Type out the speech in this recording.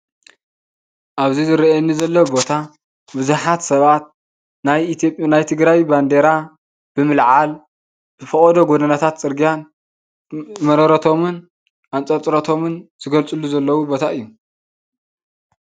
እብዚ ዝረአ ዘሎ ቦታ ብዙሓት ሰባት ናይ ትግራይ ባንዴራ ብምልዓል ፈቆዶ ጎደናታትን ፅርግያን መረሮቶምን ኣንፅርፅሮቶምን ዝገልፅሉ ዘለው ቦታ እዩ።